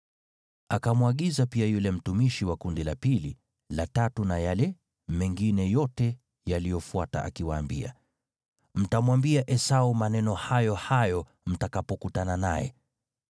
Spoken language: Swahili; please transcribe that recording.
Akamwagiza pia yule mtumishi wa kundi la pili, la tatu na yale mengine yote yaliyofuata akiwaambia, “Mtamwambia Esau maneno hayo hayo mtakapokutana naye.